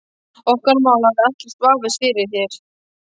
Okkar mál hafa ekkert vafist fyrir þér.